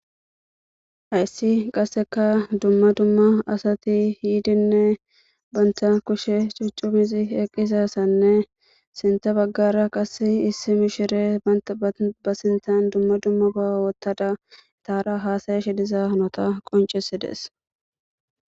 Hayssi qasseka dumma dumma asati yiidinne bantha kushe cuccumizi eqqisassanne sinta baggara qass issi mishire aba sintan dumma dumma bawa wottada itaara haasaye shidiza nota qoncesides.